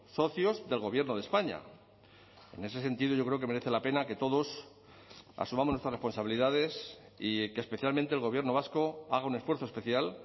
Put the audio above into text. socios del gobierno de españa en ese sentido yo creo que merece la pena que todos asumamos nuestras responsabilidades y que especialmente el gobierno vasco haga un esfuerzo especial